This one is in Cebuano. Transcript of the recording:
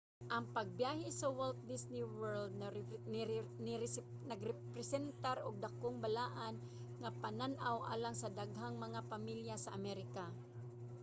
ang pagbyahe sa walt disney world nagrepresentar og dakong balaan nga panaw alang sa daghang mga pamilya sa amerika